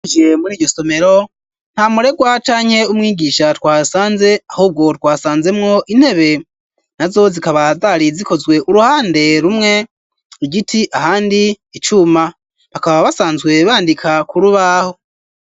Twihweje muri iryo somero nta muregwa canke umwigisha twahasanze ahubwo twasanzemwo intebe na zo zikaba zari zikozwe uruhande rumwe igiti ahandi icuma bakaba basanzwe bandika kurubaho.